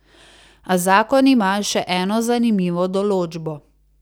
A zakon ima še eno zanimivo določbo.